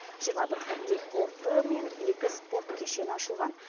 жиырма бір хоккей корты мен екі спорт кешені ашылған